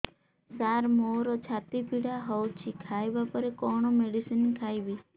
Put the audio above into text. ସାର ମୋର ଛାତି ପୀଡା ହଉଚି ଖାଇବା ପରେ କଣ ମେଡିସିନ ଖାଇବି